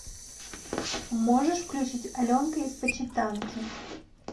можешь включить аленка из почитанки